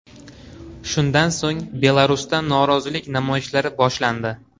Shundan so‘ng Belarusda norozilik namoyishlari boshlandi.